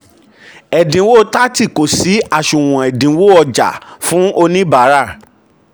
ẹ̀dínwó thirty kó sí àsunwon ẹ̀dínwó-ọjà fún oníbàárà.